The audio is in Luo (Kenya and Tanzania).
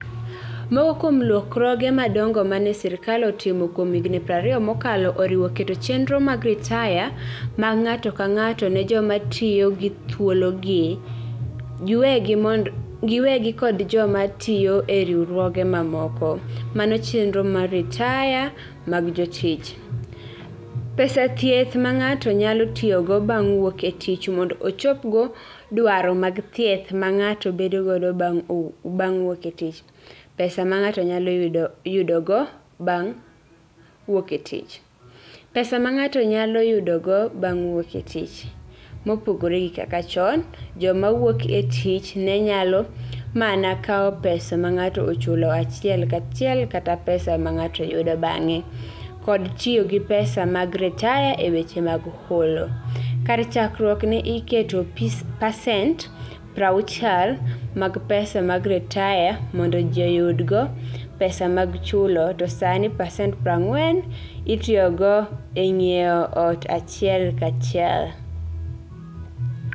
Moko kuom lokruoge madongo ma ne Sirkal otimo kuom higni 20 mokalo oriwo keto chenro mag ritaya mag ng'ato ka ng'ato ne joma tiyo gi thuologi giwegi kod joma tiyo e riwruoge mamoko; chenro mag ritaya mag jotich; pesa mag thieth ma ng'ato nyalo tiyogo bang' wuok e tich mondo ochopgo dwaro mag thieth ma ng'ato bedogo bang' wuok e tich; pesa ma ng'ato nyalo yudogo bang' wuok e tich; pesa ma ng'ato nyalo yudogo bang' wuok e tich (mopogore gi kaka chon, joma wuok e tich ne nyalo mana kawo pesa ma ng'ato ochulo achiel kachiel kata pesa ma ng'ato yudo bang'e) kod tiyo gi pesa mag ritaya e weche mag holo (kar chakruok, ne iketo pasent 60 mag pesa mag ritaya mondo ji oyudgo pesa mag chulo to sani pasent 40 itiyogo e ng'iewo ot achiel kachiel).